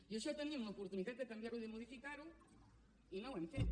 i això tenim l’oportunitat de canviar ho i de modificar ho i no ho hem fet